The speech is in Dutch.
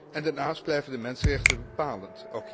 En daarnaast blijven de mensenrechten bepalend.